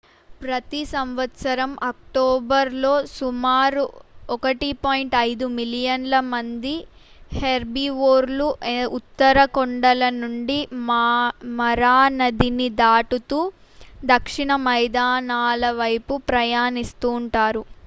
ప్రతి సంవత్సరం అక్టోబరు లో సుమారు 1.5 మిలియన్ల మంది హెర్బివోర్లు ఉత్తర కొండల నుండి మరా నదిని దాటుతూ దక్షిణ మైదానాల వైపు ప్రయాణిస్తుంటారు